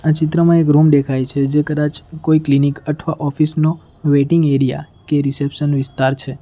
આ ચિત્રમાં એક રૂમ દેખાય છે જે કદાચ કોઈ ક્લિનિક અથવા ઑફિસ નો વેટિંગ એરિયા કે રિસેપ્શન વિસ્તાર છે.